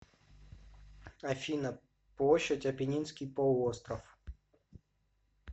афина площадь аппенинский полуостров